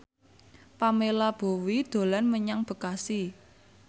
Pamela Bowie dolan menyang Bekasi